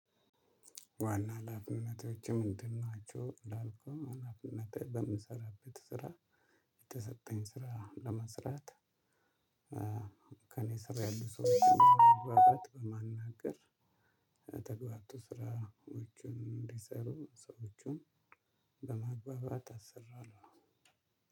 ዋና አላፍነታቸው ምንድን ናቸው? እንዳልኩህ አላፍነታ በምሰራበት ስራ። ስራ ለመስራት። ከእኔ ስር ያሉ ሰው የሚለው ማናገር። በማናገር ተግባብቶ ስራዎቹን እንዲሰሩ ሰዎችን። አሰራለሁ።